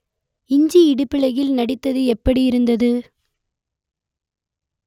இஞ்சி இடுப்பழகியில் நடித்தது எப்படியிருந்தது